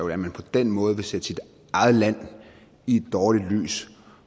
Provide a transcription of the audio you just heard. at man på den måde vil sætte sit eget land i et dårligt lys